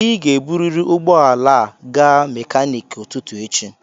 Ị ga-eburịrị ụgbọ ala a gaa mekaniki ụtụtụ echi.